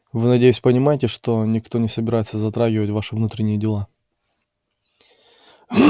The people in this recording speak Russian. вы надеюсь понимаете что никто не собирается затрагивать ваши внутренние дела